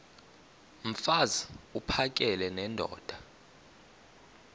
mfaz uphakele nendoda